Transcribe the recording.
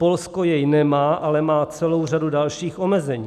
Polsko jej nemá, ale má celou řadu dalších omezení.